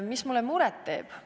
Mis mulle muret teeb?